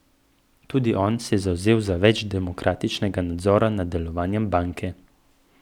Tudi on se je zavzel za več demokratičnega nadzora nad delovanjem banke.